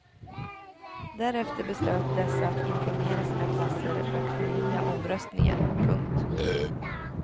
Därefter beslöt dessa att informera sina klasser och förnya omröstningen. punkt